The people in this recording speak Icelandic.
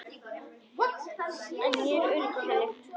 Ég er örugg í henni.